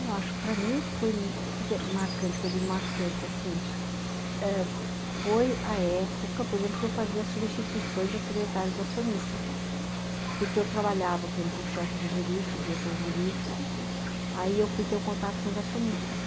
Eu acho que para mim foi marcante, que eu digo marcante assim, ãh foi a época, por exemplo, que eu fazia substituições a secretários acionistas, porque eu trabalhava, por exemplo, com o chefe do jurídico, diretor jurídico, aí eu fui ter o contato com os acionistas.